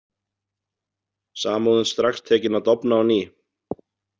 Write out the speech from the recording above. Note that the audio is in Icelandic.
Samúðin strax tekin að dofna á ný.